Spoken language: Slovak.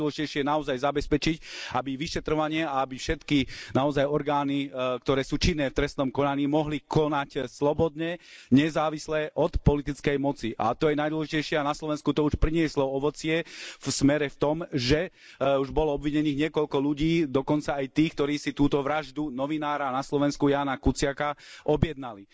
Najdôležitejšie je naozaj zabezpečiť, aby vyšetrovanie a aby všetky naozaj orgány, ktoré sú činné v trestnom konaní, mohli konať slobodne, nezávisle od politickej moci. A to je najdôležitejšie aj na Slovensku, to už prinieslo ovocie v smere v tom, že už bolo obvinených niekoľko ľudí, dokonca ja tí, ktorí si túto vraždu novinára na Slovensku, Jána Kuciaka, objednali.